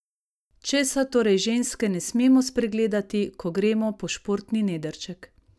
Česa torej ženske ne smemo spregledati, ko gremo po športni nedrček?